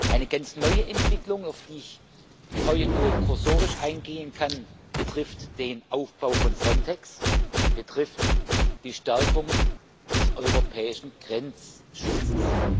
Eine ganz neue Entwicklung, auf die ich heute nur kursorisch eingehen kann, betrifft den Aufbau von Frontex, betrifft die Stärkung des europäischen Grenzschutzes.